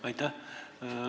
Aitäh!